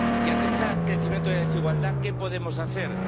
Y, ante este crecimiento de la desigualdad, ¿qué podemos hacer?